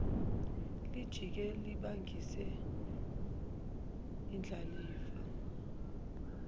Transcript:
lijike libangise indlalifa